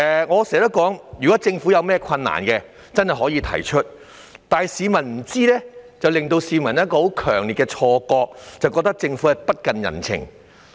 我經常指出，政府如有困難實可提出，否則市民在不知情的情況下，只會產生很強烈的錯覺，認為政府不近人情。